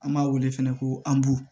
An b'a wele fɛnɛ ko anbu